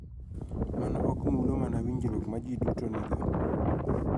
Mano ok mulo mana winjruok ma ji duto nigo .